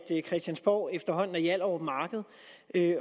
christiansborg efterhånden er hjallerup marked